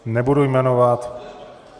Nebudu jmenovat.